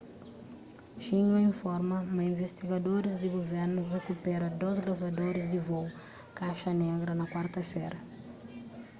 xinhua informa ma invistigadoris di guvernu rikupera dôs gravadoris di vôu kaxa negra na kuarta-fera